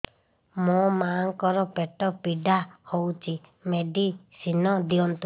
ମୋ ମାଆଙ୍କର ପେଟ ପୀଡା ହଉଛି ମେଡିସିନ ଦିଅନ୍ତୁ